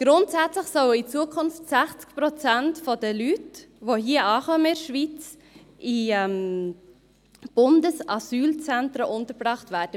Grundsätzlich sollen in Zukunft 60 Prozent der Leute, die in der Schweiz ankommen, in Bundesasylzentren untergebracht werden.